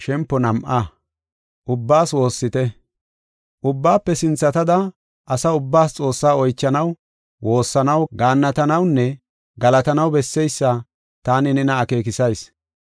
Ubbaafe sinthatada, asa ubbaas Xoossaa oychanaw, woossanaw, gaannatanawunne galatanaw besseysa taani nena akeekisayis.